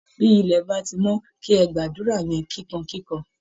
Bí ilẹ̀ bá ti mọ́, kí ẹ gba àdúra yẹn kìkankìkan!